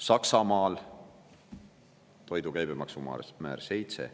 Saksamaal on toidu puhul käibemaksumäär 7%.